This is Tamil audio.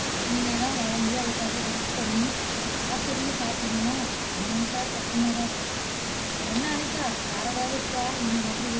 இனிமேல் தான் வளந்து அதுக்காக wait பண்ணி காத்திருந்து சாப்பிடணுமா அத நெனச்சாலே கஷ்டமாதான் இருக்கு என்ன அனிதா வேற எதாவது இருக்கா நீங்க சொல்றது